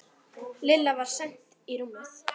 Lilla var send í rúmið.